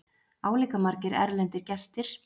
Álíka margir erlendir gestir